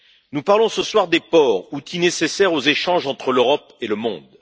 Nous parlons ce soir des ports, outils nécessaires aux échanges entre l'Europe et le monde.